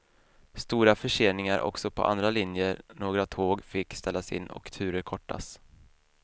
Stora förseningar också på andra linjer, några tåg fick ställas in och turer kortas.